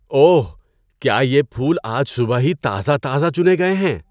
اوہ! کیا یہ پھول آج صبح ہی تازہ تازہ چنے گئے ہیں؟